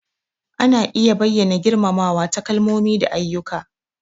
Ana iya bayyana girmamawa ta kalmomi da ayyuka.